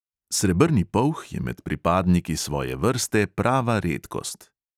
Srebrni polh je med pripadniki svoje vrste prava redkost.